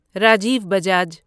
Rajiv Bajaj